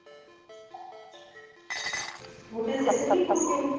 ਸਕੂਟਰੀ ਸਿੱਖ ਗਈ ਪੂਰੀ ਇਹ